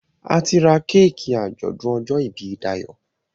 a tí rá Kéèkì ajọdun ojó ibí Dayo.